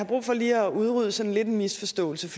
brug for lige at udrydde sådan lidt en misforståelse